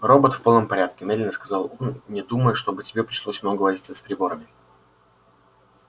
робот в полном порядке медленно сказал он не думаю чтобы тебе пришлось много возиться с приборами